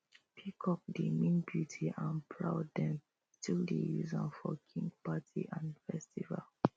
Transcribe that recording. peacock dey mean beauty and proud dem still dey use am for king party and festival